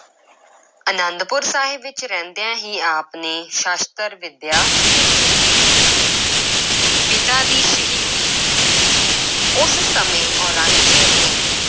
ਅਨੰਦਪੁਰ ਸਾਹਿਬ ਵਿੱਚ ਰਹਿੰਦਿਆਂ ਹੀ ਆਪ ਨੇ ਸ਼ਸਤਰ ਵਿੱਦਿਆ ਸਿੱਖੀ ਪਿਤਾ ਦੀ ਸ਼ਹੀਦੀ ਉਸ ਸਮੇਂ ਔਰੰਗਜ਼ੇਬ ਨੇ